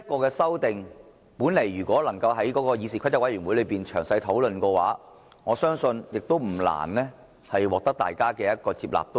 其實，如果能夠在議事規則委員會詳細討論這項修訂的話，說不定不難獲得議員接納。